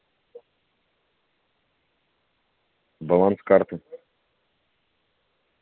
баланс карты